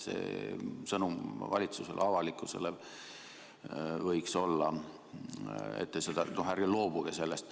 Sõnum valitsusele ja avalikkusele võiks olla, et ärge loobuge sellest.